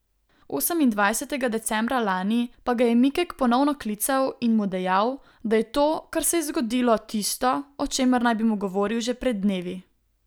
Osemindvajsetega decembra lani pa ga je Mikek ponovno klical in mu dejal, da je to, kar se je zgodilo, tisto, o čemer naj bi mu govoril že pred dnevi.